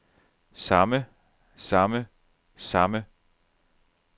samme samme samme